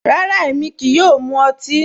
Rárá, émi kíí yòò mú òtì.